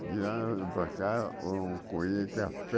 De lá para cá, ou colhia café.